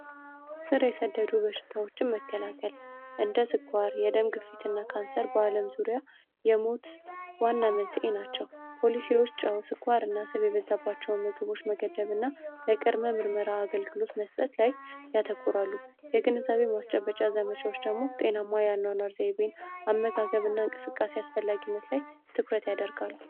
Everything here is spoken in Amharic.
ስር የሰደዱ በሽታዎችን መከላከል እንደ ስኳርና የደም ግፊት ካንሰር በዓለም ዙሪያ የሞት ዋና መንስኤ ናቸው። ፖሊሲዎች አሁን ላይ ስኳር ያላቸውን ምግቦች መገደብና የቅድመ መምርመራ አገልግሎት መስጠት ላይ ያተኩራሉ። ግንዛቤ በመስጠት ረገድ ደግሞ ጤናማ የሆነ አመጋገብ እና እንቅስቃሴ አስፈላጊነት ላይ ትኩረት ያደርጋሉ።